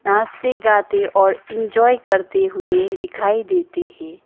हंसते गाते और इंजॉय करते हुए दिखाई देते है।